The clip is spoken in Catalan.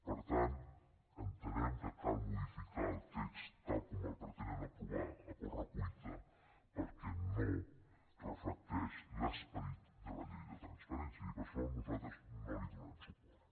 per tant entenem que cal modificar el text tal com el pretenen aprovar a corre cuita perquè no reflecteix l’esperit de la llei de transparència i per això nosaltres no hi donarem suport